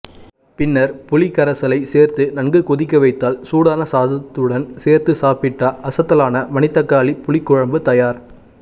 பின்னர் புளிக்கரைசலை சேர்த்து நன்கு கொதிக்க வைத்தால் சூடான சாதத்துடன் சேர்த்து சாப்பிட அசத்தலான மணிதக்காளி புளிக்குழம்பு தயார்